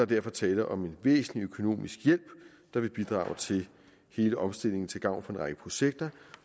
derfor tale om en væsentlig økonomisk hjælp der vil bidrage til hele omstillingen til gavn for en række projekter